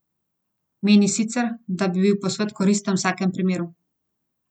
Meni sicer, da bi bil posvet koristen v vsakem primeru.